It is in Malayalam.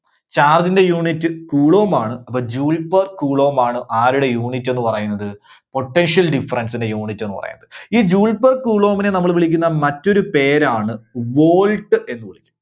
charge ന്റെ unit coulomb ആണ്. അപ്പോൾ joule per coulomb ആണ്, ആരുടെ unit എന്ന് പറയുന്നത്? potential difference ന്റെ unit എന്ന് പറയുന്നത്. ഈ joule per coulomb നെ നമ്മള് വിളിക്കുന്ന മറ്റൊരു പേരാണ് volt എന്ന് വിളിക്കും.